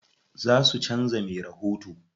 Za su canza me rahoto.